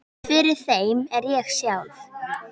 Fyrir þeim er ég sjálf